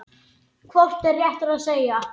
Hratt á teinum brunar lest.